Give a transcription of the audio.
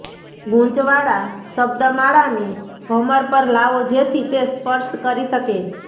ગૂંચ વાળા શબ્દમાળાને ભમર પર લાવો જેથી તે સ્પર્શ કરી શકે